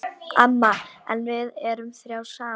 Amma, en við erum þrjár saman.